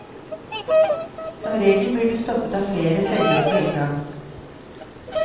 Som regel blir du stoppet av flere selgere på en gang.